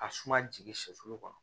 Ka suma jigin sɛfu kɔnɔ